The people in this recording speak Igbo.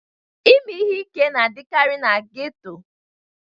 Ime ihe ike na-adịkarị na ghettos